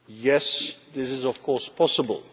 Yes, this is of course possible.